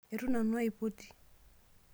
Etu nanu aipoti.